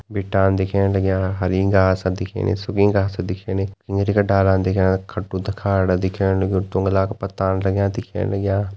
भिटान दिख्येण लाग्यां हरी घास दिख्याणी सुखी घास दिख्याणी नीली का डालन दिख्याणा खटु डा खाड दिख्येण लगयूं डुंगला का पत्ता टांग्या दिख्येण लाग्यां।